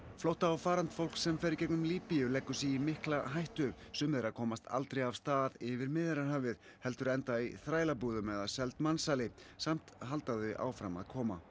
flótta og farandfólk sem fer í gegnum Líbíu leggur sig í mikla hættu sum þeirra komast aldrei af stað yfir Miðjarðarhafið heldur enda í þrælabúðum eða seld mansali samt halda þau áfram að koma